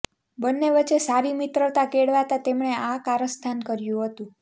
બંન્ને વચ્ચે સારી મિત્રતા કેળવાતા તેમણે આ કારસ્તાન કર્યું હતું